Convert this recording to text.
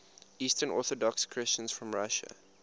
eastern orthodox christians from russia